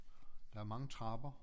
Der er mange trapper